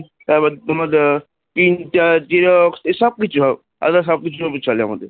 তারপরে তোমার আহ Printer Xerox এসব কিছু আমাদের সব কিছু আছে,